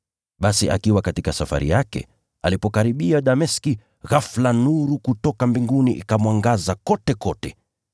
Basi akiwa katika safari yake, alipokaribia Dameski, ghafula nuru kutoka mbinguni ikamwangaza kotekote.